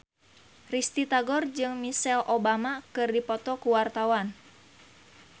Risty Tagor jeung Michelle Obama keur dipoto ku wartawan